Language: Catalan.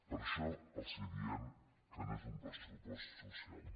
per això els diem que no és un pressupost social